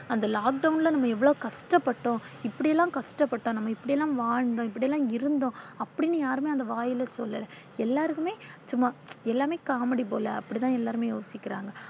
அந்த lockdown ல நாம இவ்வளோ கஷ்டப்பட்டோம் இப்படியெல்லாம் கஷ்டப்பட்டோம் நாம் இப்படி எல்லாம் வாழ்ந்தோம் இப்படி எல்லாம் இருந்தோம் அப்படினு யாருமே அத வாய்ல சொல்லல எல்லாருக்குமே சும்மா எல்லாமே comedy போல அப்படிதா எல்லாருமே யோசிக்கிறாங்க.